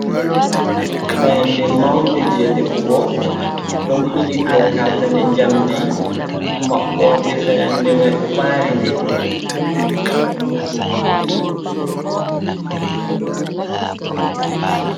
Fayande mawnde jey defugo ,ɗon bili dow katane njamndi, maɓɓoode fayande may ɗo ɓaari nde.